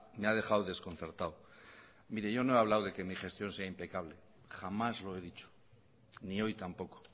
me ha dejado desconcertado mire yo no he hablado de que mis gestión sea impecable jamás lo he dicho ni hoy tampoco